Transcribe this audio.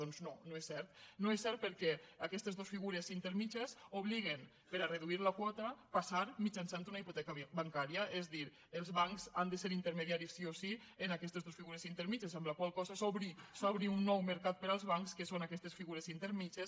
doncs no no és cert no és cert perquè aquestes dos figures intermèdies obliguen per a reduir la quota a passar mitjançant una hipoteca bancària és a dir els bancs han de ser intermediaris sí o sí en aquestes dos figures intermèdies amb la qual cosa s’obre un nou mercat per als bancs que són aquestes figures intermèdies